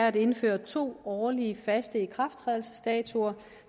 at indføre to årlige faste ikrafttrædelsesdatoer